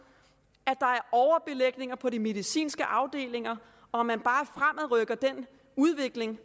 at på de medicinske afdelinger og man bare fremadrykker den udvikling